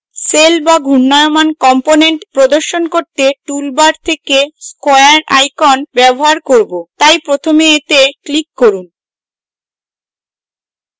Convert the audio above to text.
cell to ঘূর্ণায়মান component প্রদর্শন করতে toolbar থেকে square icon ব্যবহার করব তাই প্রথমে এতে click করুন